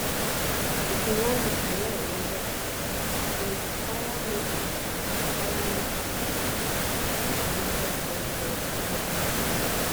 if you wan do careeroriented course dey require make dey require make you dey committed wellwell um